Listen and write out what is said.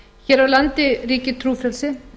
hér á landi ríkir trúfrelsi